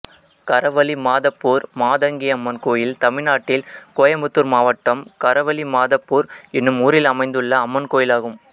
கரவலிமாதப்பூர் மாதங்கியம்மன் கோயில் தமிழ்நாட்டில் கோயம்புத்தூர் மாவட்டம் கரவலிமாதப்பூர் என்னும் ஊரில் அமைந்துள்ள அம்மன் கோயிலாகும்